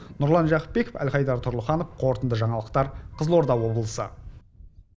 нұрлан жақыпбеков әлхайдар тұрлыханов қорытынды жаңалықтар қызылорда облысы